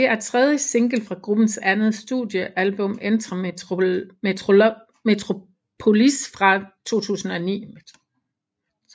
Det er tredje single fra gruppens andet studiealbum Enter Metropolis fra 2009